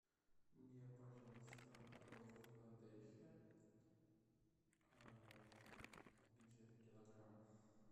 мне пожалуйста ролл филадельфия где то килограмм